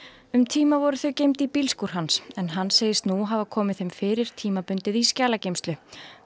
um tíma voru þau geymd í bílskúr hans en hann segist nú hafa komið þeim fyrir tímabundið í skjalageymslu